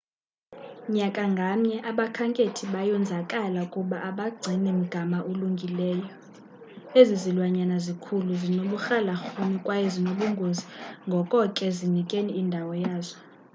nyaka ngamnye abakhenkethi bayonzakala kuba abagcini mgama ulungileeyo ezi zilwanyana zikhulu, zinoburhalarhume kwaye zinobungozi ngoko ke zinikeni indawo yazo